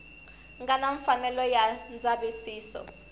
nga na mfanelo ya ndzavisiso